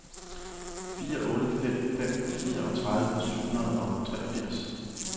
fire otte fem fem fireogtredive syv hundrede og treogfirs